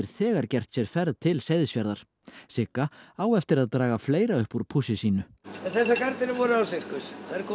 þegar gert sér ferð til Seyðisfjarðar Sigga á eftir að draga fleira upp úr pússi sínu þessar gardínur voru á Sirkus